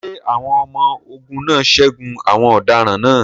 Ṣé àwọn ọmọ-ogun náà ṣẹ́gun àwọn ọ̀daràn náà?